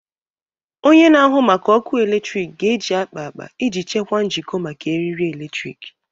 Onye na-ahụ maka ọkụ eletrik ga-eji akpa akpa iji chekwaa njikọ maka eriri eletrik.